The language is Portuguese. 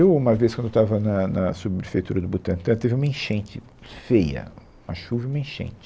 Eu, uma vez, quando eu estava na na sub-prefeitura do Butantã, teve uma enchente feia, uma chuva e uma enchente.